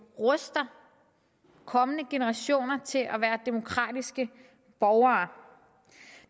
ruster kommende generationer til at være demokratiske borgere